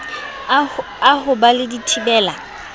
a ho ba le dithibela